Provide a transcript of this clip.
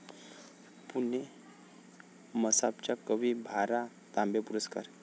पुणे मसापच्या कवी भा.रा. तांबे पुरस्कार.